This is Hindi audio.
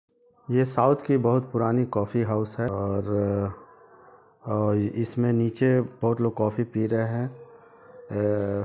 ये साउथ की बहुत पुरानी कॉफ़ी हाउस है और और इसमें निचे बहुत लोगे कॉफी पी रहे हैं | अ अ --